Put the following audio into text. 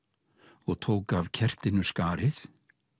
og tók af kertinu skarið